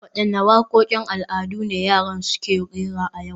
Wadanne wakokin al'adu ne yaran suke rera a yau